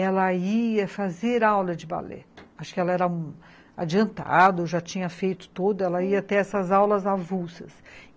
Ela ia fazer aula de balé, acho que ela era um adiantado, já tinha feito todo, ela ia ter essas aulas avulsas.